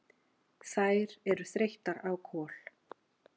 Þær eru þreyttar á Kol.